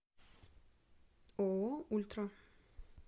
ооо ультра